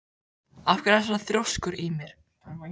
Af hverju ertu svona þrjóskur, Ymir?